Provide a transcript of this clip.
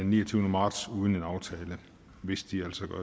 niogtyvende marts uden en aftale hvis de altså